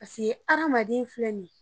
Pase adamaden filɛ nin ye